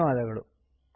ಧನ್ಯವಾದಗಳು